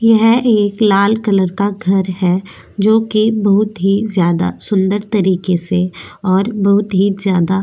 यह एक लाल कलर का घर है जो कि बहुत ही ज्यादा सुंदर तरीके से और बहुत ही ज्यादा --